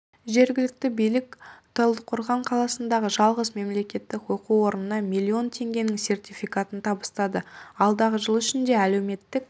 жергілікті билік талдықорған қаласындағы жалғыз мемлекеттік оқу орнына миллион теңгенің сертификатын табыстады алдағы жыл ішінде әлеуметтік